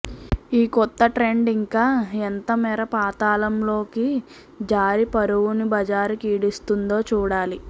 ఈ కొత్త ట్రెండ్ ఇంకా ఎంతమేర పాతాళంలోకి జారి పరువును బజారుకీడుస్తుందో చూడాలి